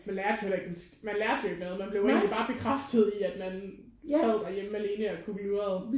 Man lærte jo heller ikke en man lærte jo ikke noget man blev jo egentlig bare bekræftet i at man sad derhjemme alene og kukkelurede